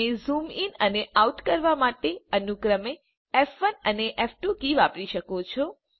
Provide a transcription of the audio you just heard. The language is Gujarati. તમે ઝૂમ ઇન અને આઉટ કરવા માટે અનુક્રમે ફ1 અને ફ2 કીઓ વાપરી શકો છો